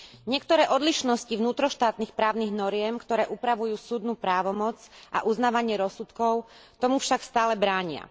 Niektoré odlišnosti vnútroštátnych právnych noriem, ktoré upravujú súdnu právomoc a uznávanie rozsudkov, tomu však stále bránia.